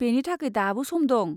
बेनि थाखाय दाबो सम दं।